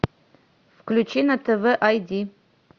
включи на тв ай ди